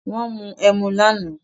Wọ́n mu emu lánàá